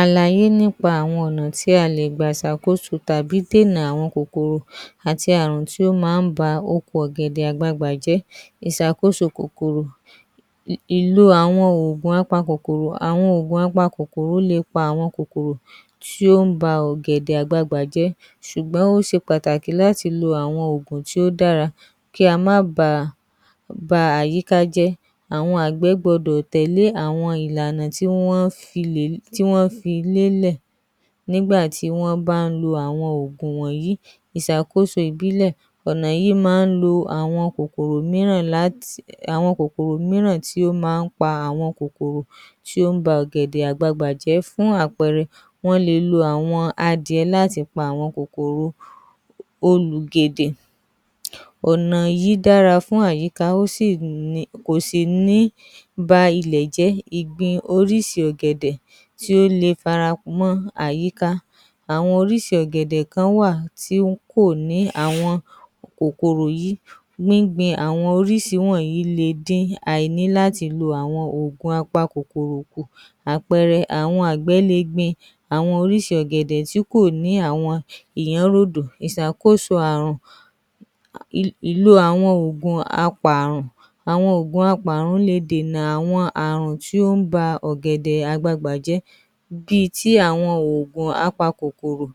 ‎Àlàyé nípa àwọn ọ̀nà tí a l gbà ṣàkóso tàbí dídè à àwọn Ààrùn tàbí kòkòrò tí ó máa ń ba oko ọ̀gẹ̀dẹ̀ àgbagbà jẹ́, ìṣàkóso Kòkòrò, ìlò àwọn òògùn apakòkòrò, àwọn òògùn apakòkòrò máa ń pa àwọn kòkòrò tí ó ń ba ọ̀gẹ̀dẹ̀ àgbagbà jẹ́ ṣùgbọ́n ó ṣe pàtàkì láti lọ àwọn òògùn tí ó dára, kí a má ba à àyíká jẹ́, àwọn àgbẹ̀ gbọdọ̀ tẹ̀lé àwọn ìlànà tí wọ́n fi lélẹ̀ nígbà tí wọ́n ń bá ń lo àwọn òògùn wọ̀nyí, ìṣàkóso Ìbílẹ̀, ọ̀nà yìí máa ń lọ àwọn kòkòrò mìíràn tí ó máa ń ba ọ̀gẹ̀dẹ̀ àgbagbà jẹ́, fún àpẹẹrẹ àwọn àgbẹ̀ máa ń lo àwọn adìẹ láti fi pa àwọn kòkòrò olùgèdè, ọ̀nà yìí dára fún àyíká, àwọn orísìírísìí ọ̀gẹ̀dẹ̀ kan wà tí kò ní àwọn kòkòrò yìí, gbingbin àwọn orísìírísìí wọ̀nyí le dín àìní láti lo àwọn òògùn apakòkòrò kù àpẹẹrẹ àwọn àgbẹ̀ lè gbin àwọn orísìí ọ̀gẹ̀dẹ̀ tí kò ní àwọn iyanrodo, ìṣàkóso Ààrùn, ìlò àwọn òògùn apààrùn, àwọn òògùn apààrùn le dènà àwọn Ààrùn tí ó ń ba ọ̀gẹ̀dẹ̀ àgbagbà jẹ́, bíi ti àwọn òògùn Apakòkòrò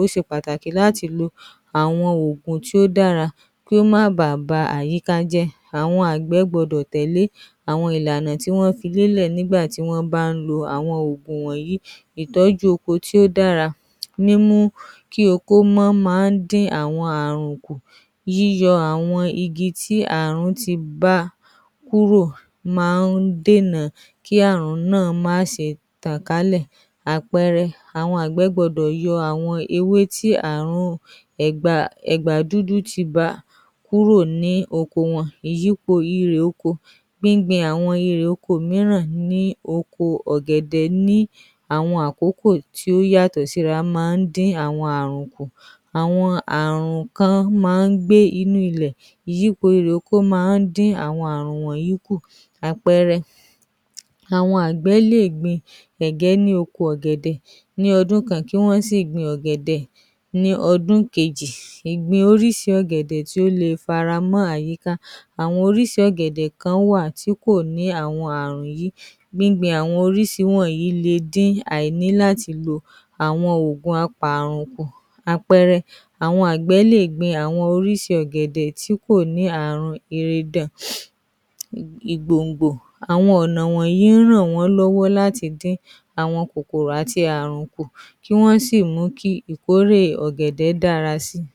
ti ṣe pàtàkì láti lo àwọn Ògùn tó dára kí ó má báà ba àyíká jẹ́, àwọn àgbẹ̀ gbọ́dọ̀ tẹ́lẹ̀ àwọn ìlànà tí wọ́n fi lélẹ̀ nígbà tí wọ́n ń bá lo àwọn òògùn wọ̀nyí, ìtọ́jú oko tó dára níí mú kí Wọ́n máa ń dín àwọn Ààrùn kù, yíyọ àwọn igi tí Ààrùn ti bá kúrò máa ń dènà kí àárun náà má ṣe tàn kálẹ̀, àpẹẹrẹ àwọn àgbẹ̀ gbọ́dọ̀ yọ ewé tí Ààrùn ẹ̀gbà dúdú ti bà kúrò ní ọkọ wọn. Ìyípo irè oko :gbíngbin àwọn irè oko mìíràn ní oko ọ̀gẹ̀dẹ̀ ní àwọn àkókò tí ó yàtọ̀ síra máa ń dín àwọn Ààrùn kù, àwọn Ààrùn kan máa ń gbé inú ilẹ̀ ṣùgbọ́n àwọn irè. Oko máa ń dín àwọn Ààrùn yìí kù àpẹẹrẹ àwọn àgbẹ̀ lè gbin ẹ̀gbẹ́ ní oko ọ̀gẹ̀dẹ̀ ní ọdún kan kí Wọ́n sì gbin ọ̀gẹ̀dẹ̀ ní ọdún kejì, ìgbì orísìí ọ̀gẹ̀dẹ̀ tó lè faramọ́ àyíká àwọn orísìí ọ̀gẹ̀dẹ̀ kan wà tí kò ní àwọn Ààrùn yìí gbíngbin àwọn orísìí wọ̀nyí le dín àìní láti lo àwọn òògùn apààrùn kù, àpẹẹrẹ, àwọn àgbẹ̀ lè gbin orísìí ọ̀gẹ̀dẹ̀ tí kò ní ìgbòngbò, àwọn ọ̀nà wọ̀nyí ń ràn wọ́n lọ́wọ́ láti dín àwọn Ààrùn àti kòkòrò kù kí Wọ́n sì mú kí ìkórè àwọn ọ̀gẹ̀dẹ̀ dára sí i.